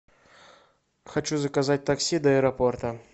хочу заказать такси до аэропорта